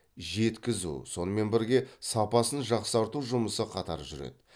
жеткізу сонымен бірге сапасын жақсарту жұмысы қатар жүреді